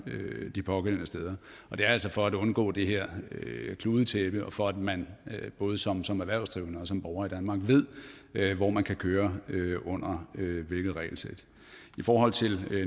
de pågældende steder det er altså for at undgå det her kludetæppe og for at man både som som erhvervsdrivende og som borger i danmark ved hvor man kan køre under hvilket regelsæt i forhold til